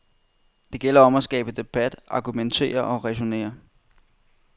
Det gælder om at skabe debat, argumentere og ræsonnere.